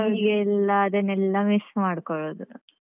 ಈಗ ಎಲ್ಲ ಅದನ್ನೆಲ್ಲಾ miss ಮಾಡ್ಕೊಳೋದು.